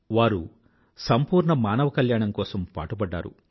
వారి సంపూర్ణ మానవ కల్యాణం కోసం పాటుపడ్డారు